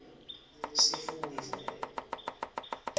sifundvo